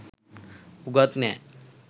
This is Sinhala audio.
උගත් නෑ